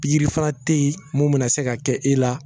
Pigiri fana te yen mun bi na se ka kɛ i la